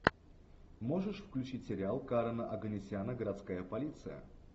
можешь включить сериал карена оганесяна городская полиция